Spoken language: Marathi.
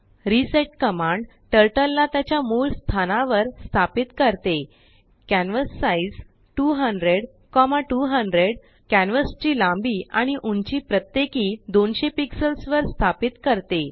रिसेट कमांडटर्टलला त्याच्या मूळ स्थानावर स्थापित करते कॅन्व्हॅसाइझ 200200कॅनवासची लांबी आणि उंची प्रत्येकी 200पिक्सल्स वर स्थापित करते